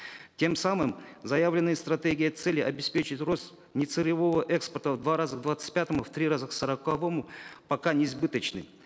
тем самым заявленная стратегия цели обеспечить рост нецелевого экспорта в два раза к двадцать пятому в три раза к сороковому пока не сбыточны